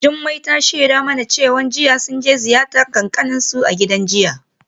Jumai ta shaida mana cewa jiya sun je ziyartar kakanninsu a gidan jinya.